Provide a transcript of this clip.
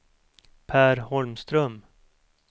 Per Holmström